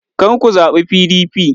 kar ku zaɓi PDP!